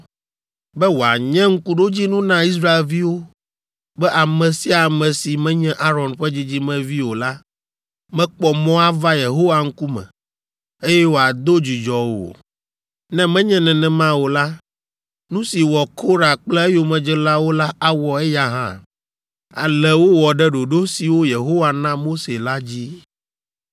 be wòanye ŋkuɖodzinu na Israelviwo be ame sia ame si menye Aron ƒe dzidzimevi o la mekpɔ mɔ ava Yehowa ŋkume, eye wòado dzudzɔ o; ne menye nenema o la, nu si wɔ Korah kple eyomedzelawo la awɔ eya hã. Ale wowɔ ɖe ɖoɖo siwo Yehowa na Mose la dzi.